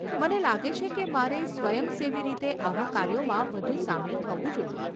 મને લાગે છે કે મારે સ્વયંસેવી રીતે આવા કાર્યોમાં વધુ સામેલ થવું જોઈએ.